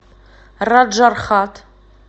раджархат